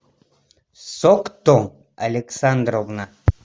сокто александровна